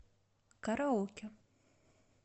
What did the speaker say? караоке